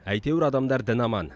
әйтеуір адамдар дін аман